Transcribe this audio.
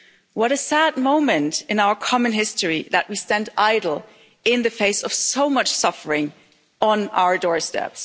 What a sad moment in our common history that we stand idle in the face of so much suffering on our doorstep.